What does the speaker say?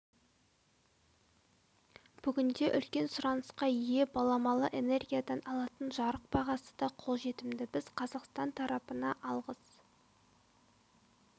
бүгінде үлкен сұнанысқа ие баламалы энергиядан алынатын жарық бағасы да қолжетімді біз қазақстан тарапына алғыс